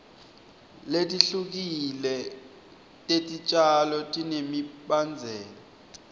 letihlukile tetitjalo tinemibandzela